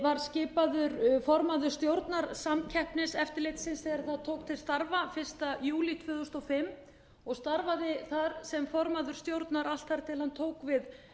var skipaður formaður stjórnar samkeppniseftirlitsins þegar það tók til starfa fyrsta júlí tvö þúsund og fimm og starfaði þar sem formaður stjórnar allt þar til hann tók við